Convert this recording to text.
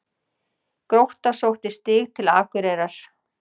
Grótta sótti stig til Akureyrar